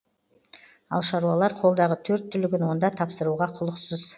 ал шаруалар қолдағы төрт түлігін онда тапсыруға құлықсыз